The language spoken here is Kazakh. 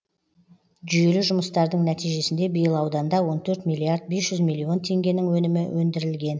жүйелі жұмыстардың нәтижесінде биыл ауданда он төрт миллиард бе жүз миллион теңгенің өнімі өндірілген